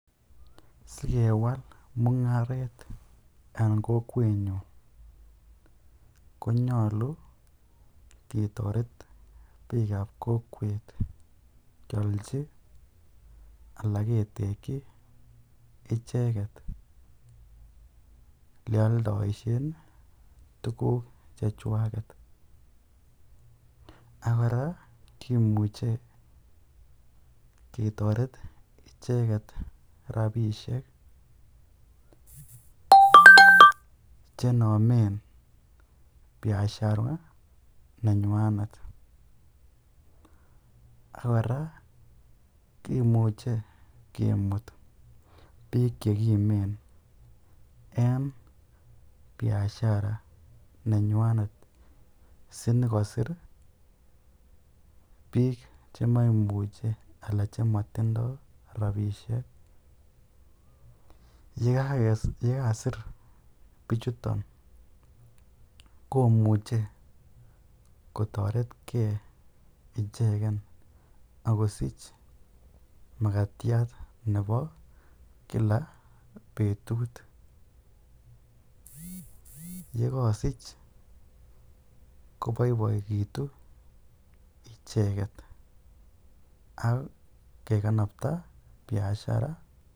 Sikewal mungaret en kokwenyun konyolu ketoret biikab kokwet kiolchi alaa ketekyi icheket elee oldoishen tukuk chechwaket, ak kora kimuche ketoret icheket rabishek chenomen biashara nenywanet ak kora kimuche kimut biik chekimen en biashara nenywanet sinyokosir biik chemamuche alaa chemotindo rabishek, yekasir bichuton komuche kotoretke icheken ak kosich makatiat nebo kila betut, yekosich koboiboekitu icheket ak kekanabta biashara.